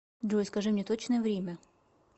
джой скажи мне точное время